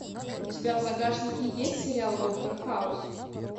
у тебя в загашнике есть сериал доктор хаус